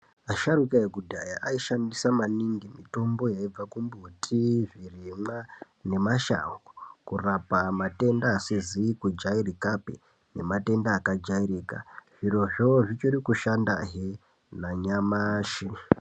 Asharuka ekudhaya aishandisa maningi mitombo yaibva kumbuti zvirimwa nemashango kurapa matenda asizi kujairikapi nematenda akajairika zvirozvo zvichiri kushanda hee nanyamashi.